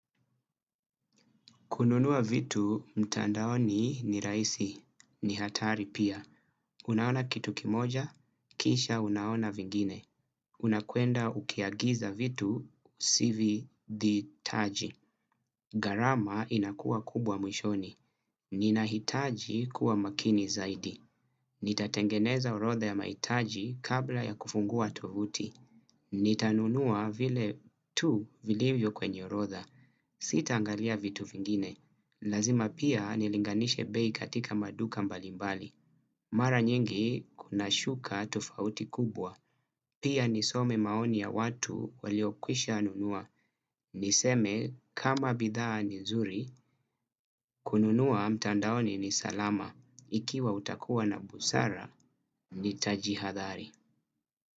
Kununua vitu, mtandaoni ni rahisi. Ni hatari pia. Unaona kitu kimoja, kisha unaona vingine. Unakwenda ukiagiza vitu, usivihitaji. Gharama inakuwa kubwa mwishoni. Nina hitaji kuwa makini zaidi. Nitatengeneza orodha ya mahitaji kabla ya kufungua tovuti. Nitanunua vile tu vilivyo kwenye orodha Sitaangalia vitu vingine. Lazima pia nilinganishe bei katika maduka mbalimbali. Mara nyingi kunashuka tofauti kubwa. Pia nisome maoni ya watu waliokwisha nunua. Niseme kama bidhaa ni zuri. Kununua mtandaoni ni salama. Ikiwa utakuwa na busara nita jihadhari.